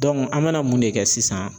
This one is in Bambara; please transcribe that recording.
an bɛna mun de kɛ sisan